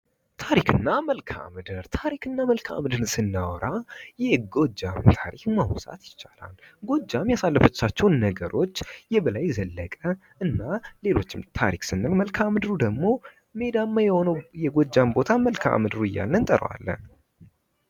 ታሪክ እና መልከአምድር ታሪክ እና መልከአምድርን ስናወራ የጎጃም ታሪክ ማንሳት ይቻላል። ጎጃም ያሳለፈቻቸውን ነገሮች የበላይ ዘለቀ እና ሌሎችም ታሪክ ስንል መልከአ ምድር ደግሞ ሜዳማ የሆነው የጎጃም ምድር መልከአምድር እያልን እንጠራዋለን።